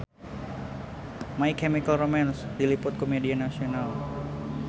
My Chemical Romance diliput ku media nasional